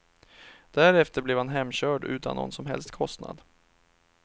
Därefter blev han hemkörd utan någon som helst kostnad.